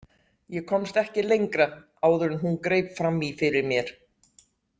Ég komst ekki lengra áður en hún greip fram í fyrir mér.